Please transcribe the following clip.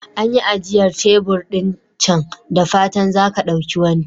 An yi ajiyar tebur ɗin can, da fatan za ka ɗauki wani.